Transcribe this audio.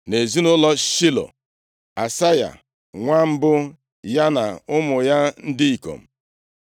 Nʼezinaụlọ Shilo: Asaya nwa mbụ ya na ụmụ ya ndị ikom.